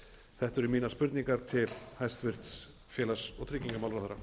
þetta eru mínar spurningar til hæstvirts félags og tryggingamálaráðherra